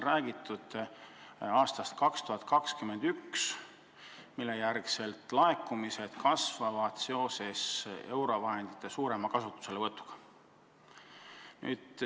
Räägitud on aastast 2021, mille järel laekumised kasvavad seoses eurovahendite suurema kasutuselevõtuga.